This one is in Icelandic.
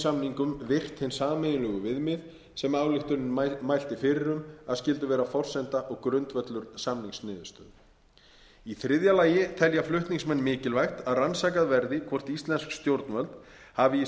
samningum virt hin sameiginlegu viðmið sem ályktunin mælti fyrir um að skyldu vera forsenda og grundvöllur samningsniðurstöðu í þriðja lagi telja flutningsmenn mikilvægt að rannsakað verði hvort íslensk stjórnvöld hafi í